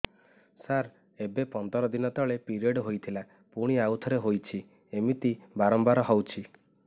ସାର ଏବେ ପନ୍ଦର ଦିନ ତଳେ ପିରିଅଡ଼ ହୋଇଥିଲା ପୁଣି ଆଉଥରେ ହୋଇଛି ଏମିତି ବାରମ୍ବାର ହଉଛି